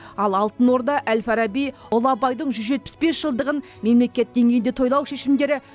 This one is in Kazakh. ал алтын орда әл фараби ұлы абайдың жүз жетпіс бес жылдығын мемлекет деңгейінде тойлау шешімдері